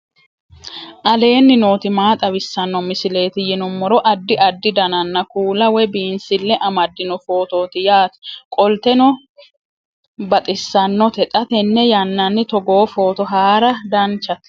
aleenni nooti maa xawisanno misileeti yinummoro addi addi dananna kuula woy biinsille amaddino footooti yaate qoltenno baxissannote xa tenne yannanni togoo footo haara danvchate